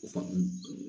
O faamu